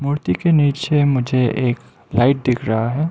मूर्ति के नीचे मुझे एक लाइट दिख रहा है।